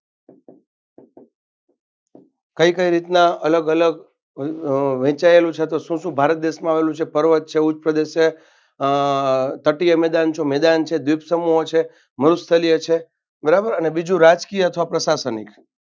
કઈ કઈ રીતના અલગ અલગ અ વહેચાયેલું છે તો શું શું ભારત દેશમાં આવેલું છે પર્વત છે ઉચ્ચપ્રદેશ છે અ તટિય મેદાન છે મેદાન છે દ્વીપ સમૂહો છે મલુસ્થલીય છે બરાબર અને બીજું રાજકીય અથવા પ્રશાંશનિક